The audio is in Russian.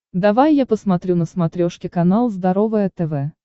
давай я посмотрю на смотрешке канал здоровое тв